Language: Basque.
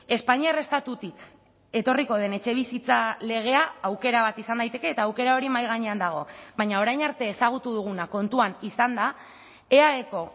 espainiar estatutik etorriko den etxebizitza legea aukera bat izan daiteke eta aukera hori mahai gainean dago baina orain arte ezagutu duguna kontuan izanda eaeko